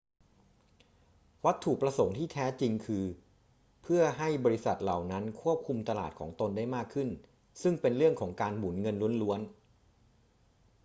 วัตถุประสงค์ที่แท้จริงคือเพื่อให้บริษัทเหล่านั้นควบคุมตลาดของตนได้มากขึ้น ซึ่งเป็นเรื่องของการหมุนเงินล้วนๆ